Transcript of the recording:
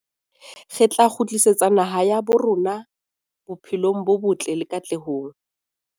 Re tla kgutlisetsa naha ya habo rona bophelong bo botle le katlehong.